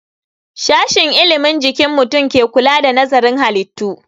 Sashen ilimin jikin mutum ke kula da nazarin halittu